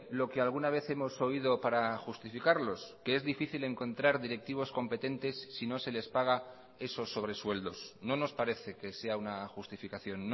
lo que alguna vez hemos oído para justificarlos que es difícil encontrar directivos competentes si no se les paga esos sobresueldos no nos parece que sea una justificación